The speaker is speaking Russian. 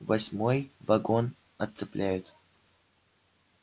восьмой вагон отцепляют